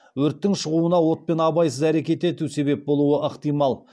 өрттің шығуына отпен абайсыз әрекет ету себеп болуы ықтимал